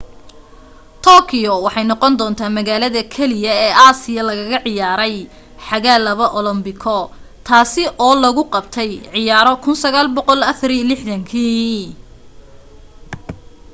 tokyo waxay noqondoontaa magaalada kaliya ee aasiya lagaga ciyaaray xagaa laba olombiko taasi loo lagu qabtay ciyaaro 1964kii